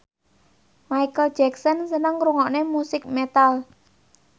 Micheal Jackson seneng ngrungokne musik metal